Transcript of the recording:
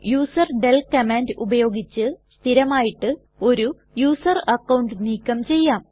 userdel command ഉപയോഗിച്ച് സ്ഥിരമായിട്ട് ഒരു യൂസർ അക്കൌണ്ട് നീക്കം ചെയ്യാം